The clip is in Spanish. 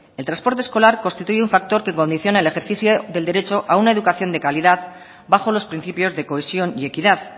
el transporte escolar constituye un factor que condiciona el ejercicio del derecho a una educación de calidad bajo los principios de cohesión y equidad